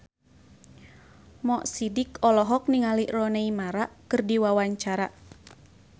Mo Sidik olohok ningali Rooney Mara keur diwawancara